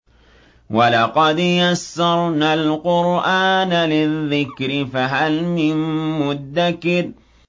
وَلَقَدْ يَسَّرْنَا الْقُرْآنَ لِلذِّكْرِ فَهَلْ مِن مُّدَّكِرٍ